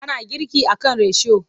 Ana girki a kan risho.